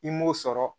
I m'o sɔrɔ